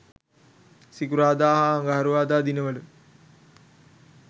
සිකුරාදා හා අඟහරුවාදා දිනවල